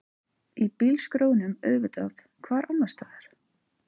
Í bílskrjóðnum auðvitað, hvar annarstaðar?